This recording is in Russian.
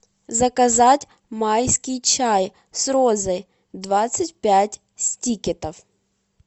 заказать майский чай с розой двадцать пять стикетов